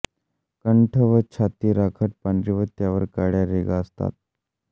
कंठ व छाती राखट पांढरी व त्यावर काळ्या रेघा असतात